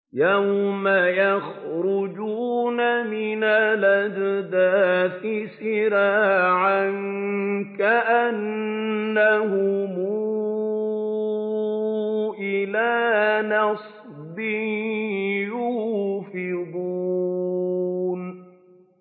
يَوْمَ يَخْرُجُونَ مِنَ الْأَجْدَاثِ سِرَاعًا كَأَنَّهُمْ إِلَىٰ نُصُبٍ يُوفِضُونَ